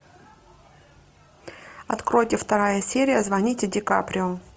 откройте вторая серия звоните ди каприо